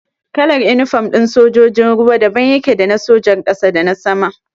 Kalar inifom ɗin sojojin ruwa daban yake da na sojar ƙasa da na sama.